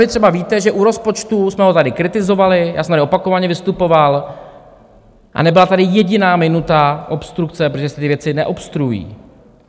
Vy třeba víte, že u rozpočtu jsme ho tady kritizovali, já jsem tady opakovaně vystupoval a nebyla tady jediná minuta obstrukce, protože se ty věci neobstruují.